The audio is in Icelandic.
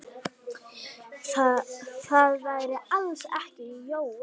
Það væri alls ekki Jói.